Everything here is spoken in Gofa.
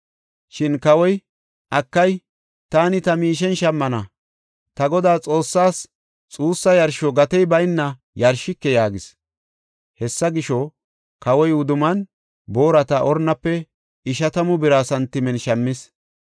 Shin kawoy, “Akay, taani ta miishen shammana. Ta Godaa, Xoossaas xuussa yarsho gatey bayna yarshike” yaagis. Hessa gisho, kawoy wudummaanne boorata Ornafe ishatamu bira santimen shammis.